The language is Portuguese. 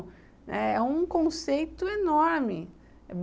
Né, é um conceito enorme.